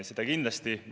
Seda kindlasti.